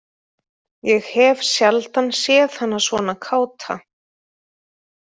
Ég hef sjaldan séð hana svona káta.